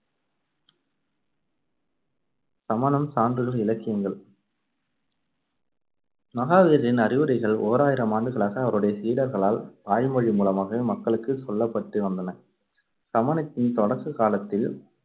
சமணம் சான்றுகள், இலக்கியங்கள் மகாவீரரின் அறவுரைகள் ஓராயிரம் ஆண்டுகளாக அவருடைய சீடர்களால் வாய்மொழி மூலமாகவே மக்களுக்குச் சொல்லப்பட்டு வந்தன. சமணத்தின் தொடக்க காலத்தில்